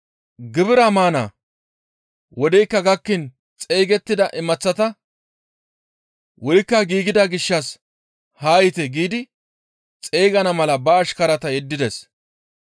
«Gibira maana wodeykka gakkiin xeygettida imaththata, ‹Wurikka giigida gishshas haa yiite!› giidi xeygana mala ba ashkara yeddides.